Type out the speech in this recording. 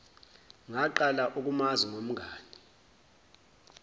ngaqala ukumazi ngomngani